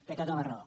té tota la raó